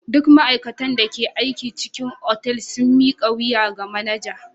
Duk ma'aikatan da ke cikin otal sun mika wuya ga manaja.